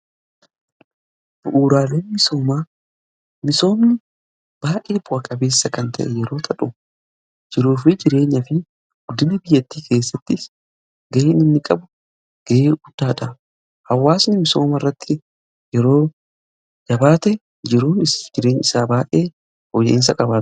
Bu'uuraale misoomaa baay'ee bu'aa qabeessa kan ta'e yeroo ta'u jiruufi jireenya fi guddina biyyattii keessattis ga'ee inni qabu ga'ee guddaadha. Hawaasni misoomaa irratti yeroo jabaate jiruu fi jireenya isaa baay'ee fooyya'insa qabaata.